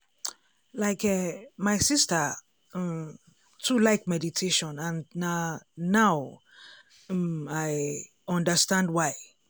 um like eh my sister um too like meditation and na now um i um understand why.